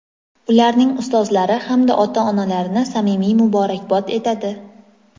ularning ustozlari hamda ota-onalarini samimiy muborakbod etadi!.